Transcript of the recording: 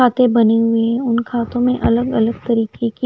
खाते बनी हुई है उन खातों में अलग अलग तरीके के--